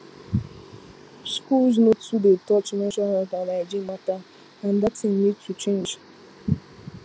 schools no too dey touch menstrual health and hygiene matter and that thing need to change